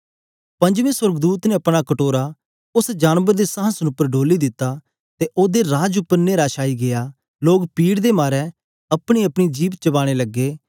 पंजबे सोर्गदूत ने अपना कटोरा उस्स जानबर दे संहासन उपर डोली दित्ता ते ओदे राज उपर न्हेरा छाई गीया लोग पीड़ दे मारे अपनी अपनी जिभ चबाने लगे